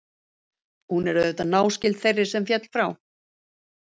Hún er auðvitað náskyld þeirri sem féll frá.